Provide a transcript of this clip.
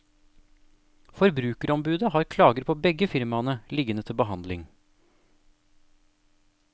Forbrukerombudet har klager på begge firmaene liggende til behandling.